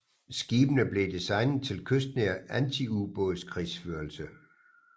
Skibene blev designet til kystnær antiubådskrigsførelse